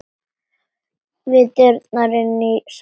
Við dyrnar inn í salinn.